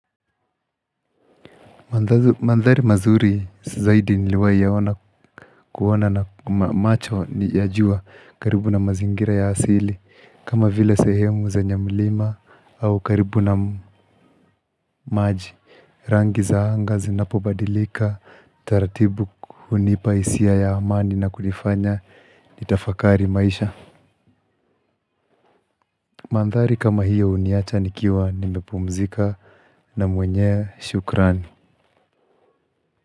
Mandhari mazuri zaidi niliwai yaona kuona na macho niyajua karibu na mazingira ya hasili kama vile sehemu zenye mlima au karibu na maji. Rangi za anga zinapobadilika, taratibu hunipa hisia ya amani na kunifanya ni tafakari maisha. Mandhari kama hiyo huniacha nikiwa nimepumzika na mwenye shukrani.